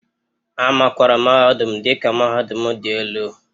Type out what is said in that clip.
A makwaara mahadum dị ka mahadum dị elu